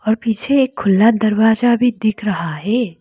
और पीछे एक खुला दरवाजा भी दिख रहा है।